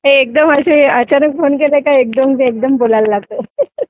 हे एकदम असे अचानक फोन केला की एकदम बोलायला लागतो